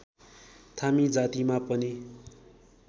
थामी जातिमा पनि